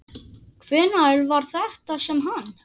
Hvenær var þetta sem hann.